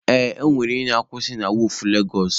Ee, ọ nwere onye na-akwusị na wọọfụ Legosụ.